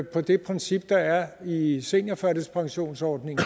på det princip der er i seniorførtidspensionsordningen